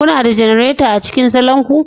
Kuna da janareta a cikin salon ku?